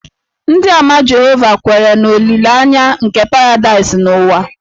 Ndịàmà Jehova kweere na olileanya nke paradaịs n'ụwa